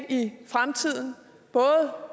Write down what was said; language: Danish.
i fremtiden både